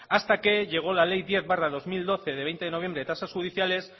hasta que llego la ley diez barra dos mil doce de veinte de noviembre de tasas judiciales